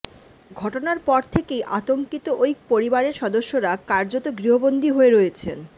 ঘটনার পর থেকেই আতঙ্কিত ওই পরিবারের সদস্যরা কার্যত গৃহবন্দি হয়ে রয়েছেন